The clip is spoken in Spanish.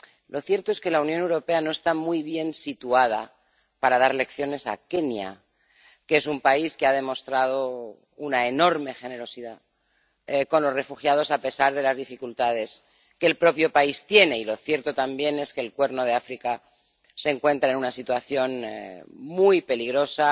Lo cierto es que la Unión Europea no está muy bien situada para dar lecciones a Kenia, que es un país que ha demostrado una enorme generosidad con los refugiados, a pesar de las dificultades que el propio país tiene. Y lo cierto también es que el Cuerno de África se encuentra en una situación muy peligrosa,